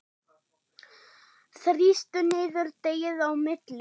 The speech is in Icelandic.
Þrýstu niður deigið á milli.